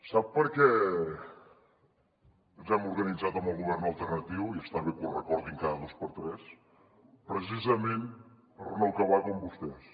sap per què ens hem organitzat amb el govern alternatiu i està bé que ho recordin cada dos per tres precisament per no acabar com vostès